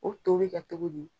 O to bɛ kɛ cogo di?